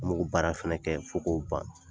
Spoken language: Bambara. An bɛ k'o baara fana kɛ fo k'o ban